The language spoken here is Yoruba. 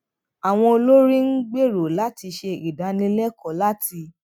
àwọn olórí ń gbèrò láti ṣe ìdánilẹkọọ láti